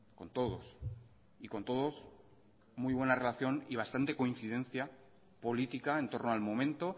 con todos y con todos muy buena relación y bastante coincidencia política en torno al momento